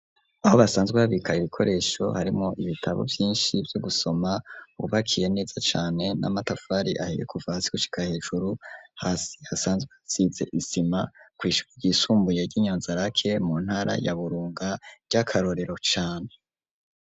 Aho basanzwe habika ibikoresho harimwo ibitabo vyinshi Vyo gusoma bubakiye neza cane ,n'amatafari ahiye ,kuva hasi gushika hejuru, hasi hasanzwe hasize isima, kwishure ryisumbuye ry'inyanzarake mu ntara ya burunga ry'akarorero cane.